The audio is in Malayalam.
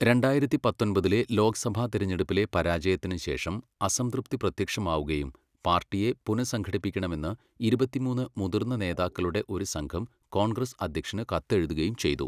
രണ്ടായിരത്തി പത്തൊമ്പതിലെ ലോക്സഭാ തിരഞ്ഞെടുപ്പിലെ പരാജയത്തിന് ശേഷം അസംതൃപ്തി പ്രത്യക്ഷമാവുകയും പാർട്ടിയെ പുനഃസംഘടിപ്പിക്കണമെന്ന് ഇരുപത്തിമൂന്ന് മുതിർന്ന നേതാക്കളുടെ ഒരു സംഘം കോൺഗ്രസ് അധ്യക്ഷന് കത്തെഴുതുകയും ചെയ്തു.